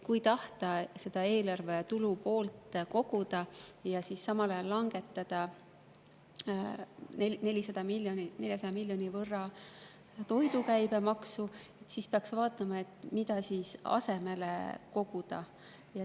Kui tahta eelarve tulupoolt koguda ja samal ajal langetada 400 miljoni võrra toidu käibemaksu, siis peaks vaatama, mida asemele koguda.